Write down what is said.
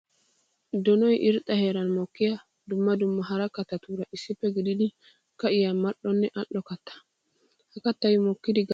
Donoy irxxa heeran mokkiya dumma dumma hara katattuura issippe gididdi ka'iya mali'onne ali'o katta. Ha kattay mokkiddi gakanawu naa"u woykko heezzu agina koshshees.